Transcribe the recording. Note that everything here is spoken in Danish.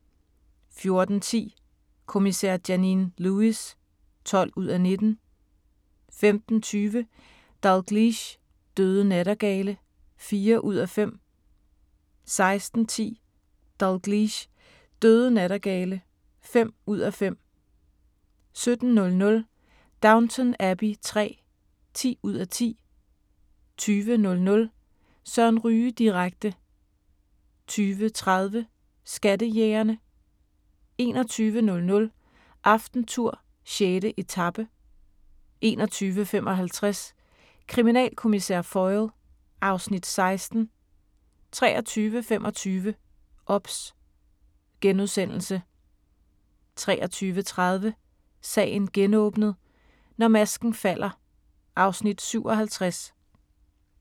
14:10: Kommissær Janine Lewis (12:19) 15:20: Dalgliesh: Døde nattergale (4:5) 16:10: Dalgliesh: Døde nattergale (5:5) 17:00: Downton Abbey III (10:10) 20:00: Søren Ryge direkte 20:30: Skattejægerne 21:00: AftenTour: 6. etape 21:55: Kriminalkommissær Foyle (Afs. 16) 23:25: OBS * 23:30: Sagen genåbnet: Når masken falder (Afs. 57)